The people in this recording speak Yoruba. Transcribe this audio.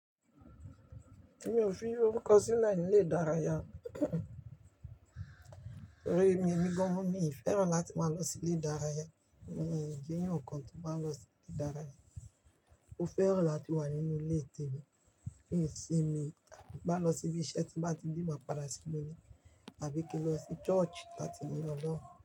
Mi ò fi yó mókàn sílẹ̀ ní ilé ìdárayá. Torí mi ní gan-an mi ò fẹ́ràn láti máa lọ sí ilé ìdárayá. Mi ò je eeyan kan tó máa lọ sí ilé ìdárayá. Mo fẹ́ràn láti wà nínú ilé tèmi, kí n sìnmi, àbí tí mo bá lọ sí ibi iṣẹ́ tí n bá ti dé máa padà sí inú ilé àbí kí n lọ sí church láti ní ọlọ́run.